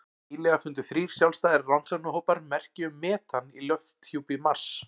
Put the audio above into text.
Nýlega fundu þrír sjálfstæðir rannsóknarhópar merki um metan í lofthjúpi Mars.